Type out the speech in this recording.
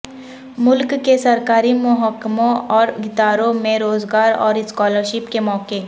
ملک کے سرکاری محکموں اور اداروں میں روزگار اور اسکالرشپ کے مواقع